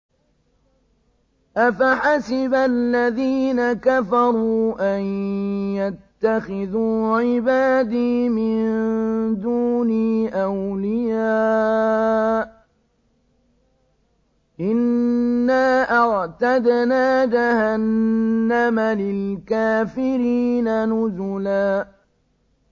أَفَحَسِبَ الَّذِينَ كَفَرُوا أَن يَتَّخِذُوا عِبَادِي مِن دُونِي أَوْلِيَاءَ ۚ إِنَّا أَعْتَدْنَا جَهَنَّمَ لِلْكَافِرِينَ نُزُلًا